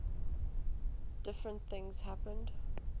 different things happened